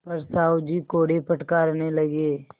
पर साहु जी कोड़े फटकारने लगे